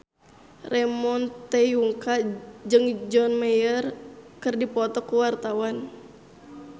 Ramon T. Yungka jeung John Mayer keur dipoto ku wartawan